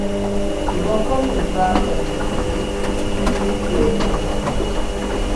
ìwọ kọ́ ló ń bá ọkùnrin bíi bíi tiẹ̀ sùnmo ni